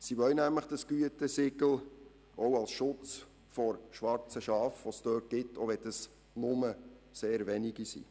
Sie wollen nämlich dieses Gütesiegel auch als Schutz vor schwarzen Schafen, die es in geringer Zahl in dieser Branche gibt.